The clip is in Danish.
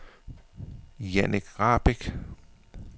Jannik Rahbek